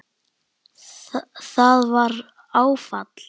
Það var áfall.